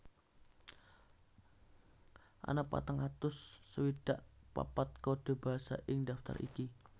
Ana patang atus swidak papat kode basa ing daftar iki